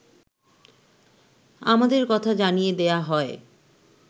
আমাদের কথা জানিয়ে দেয়া হয়